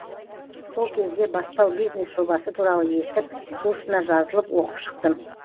сол кезде бастау бизнес жобасы туралы естіп курсына жазылып оқып шықтым